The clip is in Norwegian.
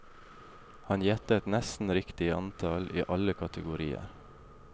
Han gjettet nesten riktig antall i alle kategorier.